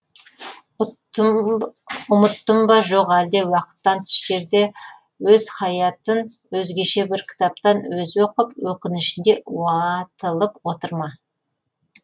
ұмыттым ба жоқ әлде уақыттан тыс жерде өз хаятын өзгеше бір кітаптан өзі оқып өкінішінде уатылып отыр ма